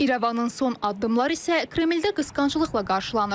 İrəvanın son addımları isə Kremldə qısqanclıqla qarşılanır.